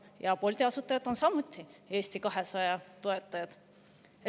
Ja Bolti asutajad on samuti Eesti 200 toetajad.